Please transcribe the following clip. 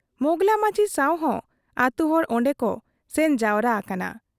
ᱢᱚᱸᱜᱽᱞᱟ ᱢᱟᱹᱡᱷᱤ ᱥᱟᱶᱦᱚᱸ ᱟᱹᱛᱩ ᱦᱚᱲ ᱚᱱᱰᱮ ᱠᱚ ᱥᱮᱱ ᱡᱟᱣᱨᱟ ᱟᱠᱟᱱᱟ ᱾